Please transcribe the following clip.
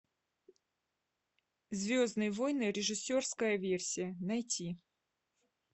звездные войны режиссерская версия найти